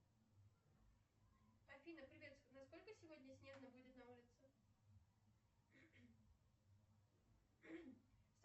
афина привет насколько сегодня снежно будет на улице